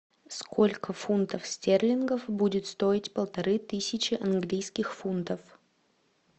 сколько фунтов стерлингов будет стоить полторы тысячи английских фунтов